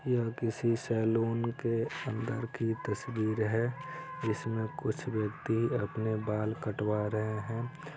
यह किसी सैलून के अंदर की तस्वीर है जिसमे कुछ व्यक्ति अपने बाल कटवा रहे हैं।